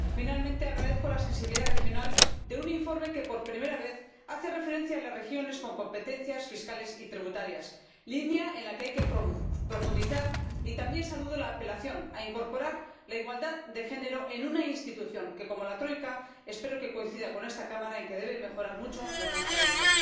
Finalmente, agradezco la sensibilidad regional de un informe que, por primera vez, hace referencia a las regiones con competencias fiscales y tributarias, línea en la que hay que profundizar, y también saludo la apelación a incorporar la igualdad de género en una institución que, como la troika, espero que coincida con esta Cámara en que debe mejorar mucho en transparencia.